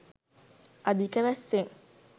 අධික වැස්සෙන්